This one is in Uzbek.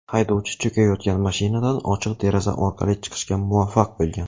Haydovchi cho‘kayotgan mashinadan ochiq deraza orqali chiqishga muvaffaq bo‘lgan.